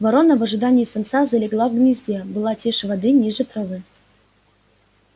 ворона в ожидании самца залегла в гнезде была тише воды ниже травы